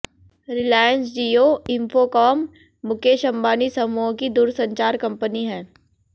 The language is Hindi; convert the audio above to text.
रिलायंस जियो इंफोकॉम मुकेश अंबानी समूह की दूरसंचार कंपनी है